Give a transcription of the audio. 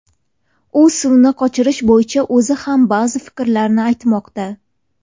U suvni qochirish bo‘yicha o‘zi ham ba’zi fikrlarni aytmoqda.